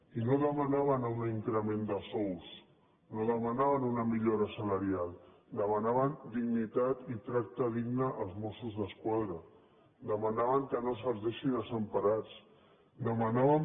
i no demanaven un increment de sous no demanaven una millora salarial demanaven dignitat i tracte digne als mossos d’esquadra demanaven que no se’ls deixi desemparats demanaven